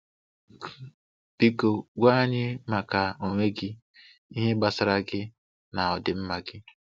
Q: Biko gwa anyị maka onwe gị, ihe gbasara gị na ọdịmma gị.